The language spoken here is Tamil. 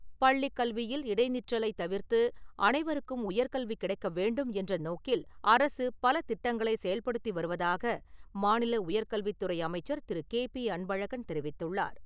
பள்ளிக் கல்வியில் இடை நிற்றலை தவிர்த்து அனைவருக்கும் உயர்கல்வி கிடைக்க வேண்டும் என்ற நோக்கில், அரசு பல திட்டங்களை செயல்படுத்தி வருவதாக மாநில உயர் கல்வித்துறை அமைச்சர் திரு. கே பி அன்பழகன் தெரிவித்துள்ளார்.